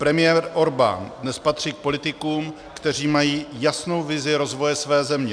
Premiér Orbán dnes patří k politikům, kteří mají jasnou vizi rozvoje své země.